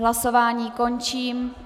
Hlasování končím.